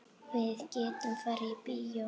Við gætum farið í bíó.